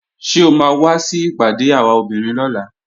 Ṣé o máa wá sí ìpàdé àwa obìnrin lọ́la?